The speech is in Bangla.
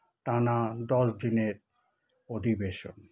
টানা দশ দিনের অধিবেশন